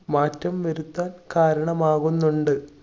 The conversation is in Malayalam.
മാറ്റം വരുത്താൻ കാരണമാകുന്നുണ്ട്.